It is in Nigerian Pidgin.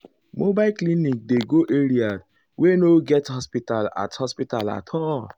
mobile clinic dey go areaah wey no get hospital at hospital at all.